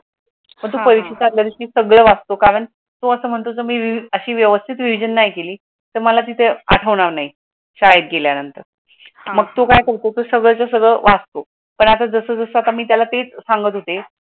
सगड वाचतो कारण अशी वायवस्थेत रिव्हिजन नाही केली तर मला तेथे आडवणार नाही शाळेत गेल्यानंतर. मग तो काय करतो सगळं तर सगळं वाचतो, पण मी आता जसेच्या तसे त्याला तेच सांगत होते.